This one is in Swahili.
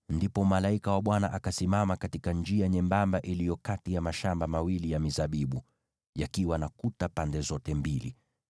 Ndipo malaika wa Bwana akasimama katika njia nyembamba iliyo kati ya mashamba mawili ya mizabibu, yakiwa na kuta pande zote mbili.